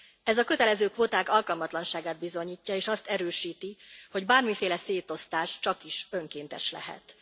Ez a kötelező kvóták alkalmatlanságát bizonyítja, és azt erősíti, hogy bármiféle szétosztás csakis önkéntes lehet.